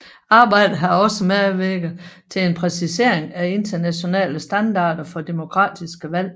Arbejdet har også medvirket til en præcisering af internationale standarder for demokratiske valg